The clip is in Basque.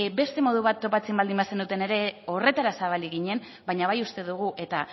beste modu bat topatzen baldin bazenuten ere horretara zabalik ginen baina bai uste dugu eta